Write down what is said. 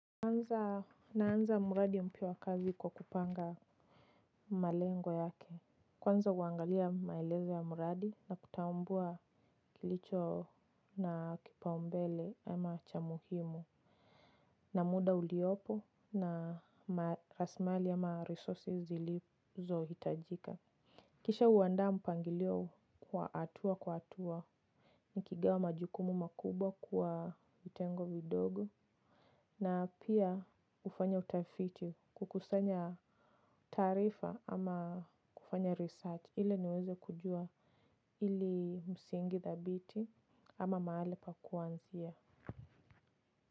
Kwanza naanza muradi mpia wakazi kwa kupanga malengo yake. Kwanza uangalia maelezo ya mradi na kutambua kilicho na kipaumbele ama cha muhimu. Na muda uliopo na rasmali ama resources zilizo hitajika. Kisha uandaa mpangilio kwa hatua kwa hatua. Nikigawa majukumu makubwa kwa vitengo vidogo na pia ufanya utafiti kukusanya taarifa ama kufanya research ile niweze kujua ili msingi thabiti ama mahali pa kuanzia.